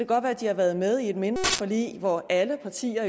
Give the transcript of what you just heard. godt være at de har været med i et mindre forlig hvor alle partier